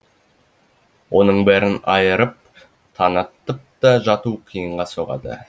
оның бәрін айырып танақтықта жату қиынға соғады